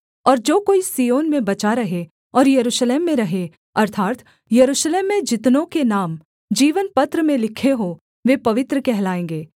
और जो कोई सिय्योन में बचा रहे और यरूशलेम में रहे अर्थात् यरूशलेम में जितनों के नाम जीवनपत्र में लिखे हों वे पवित्र कहलाएँगे